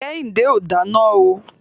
Kẹ́hìndé ò dáná o.